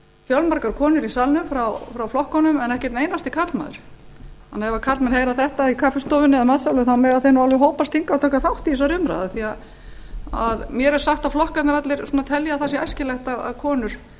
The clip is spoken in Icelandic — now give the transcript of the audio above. fjölmargar konur í salnum frá flokkunum en ekki einn einasti karlmaður þannig ef karlmenn heyra þetta í kaffistofunni eða í matsalnum þá mega þeir nú alveg hópast hingað og taka þátt í þessari umræðu af því mér er sagt að flokkarnir allir telji að það sé æskilegt að konur